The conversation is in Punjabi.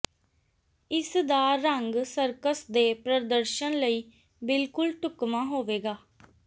ਇਸ ਦਾ ਰੰਗ ਸਰਕਸ ਦੇ ਪ੍ਰਦਰਸ਼ਨ ਲਈ ਬਿਲਕੁਲ ਢੁਕਵਾਂ ਹੋਵੇਗਾ